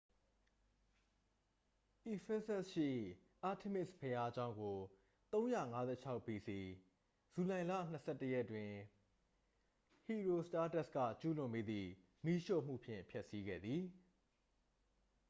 ephesus ရှိ artemis ဘုရားကျောင်းကို 356 bc ဇူလိုင်လ 21 ရက်တွင် ဟီရီုစတားတက်စ် က ကျူးလွန်မိသည့် မီးရှို့မှုဖြင့် ဖျက်ဆီးခဲ့သည်